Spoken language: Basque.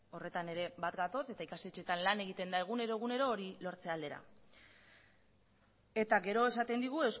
horretan ere bat gatoz eta ikastetxeetan lan egiten da egunero hori lortzea aldera eta gero esaten digu